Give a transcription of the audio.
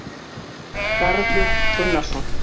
Garður Gunnarsson,